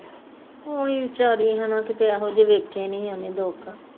ਓਹ ਵੀ ਵੀਚਾਰੀ ਹੈਨਾ ਕਿਤੇ ਇਹੋ ਜਹੇ ਉਹਨੇ ਦੇਖੇ ਨੀ ਸੀ ਉਹਨੇ ਦੁੱਖ